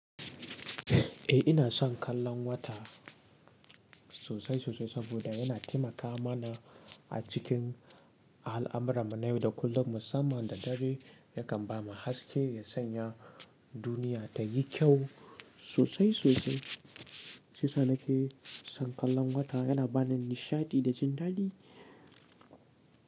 Eh ina son kallon wata sosai sosai saboda yana taimaka mana a cikin a al'amuran mu na yau da kullum musamman da dare yakan bamu haske ya sanya duniya ta yi kyau sosai sosai. Sisa nake son kallon wata yana bani nishaɗi da jin daɗi.